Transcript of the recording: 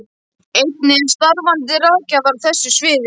Einnig eru starfandi ráðgjafar á þessu sviði.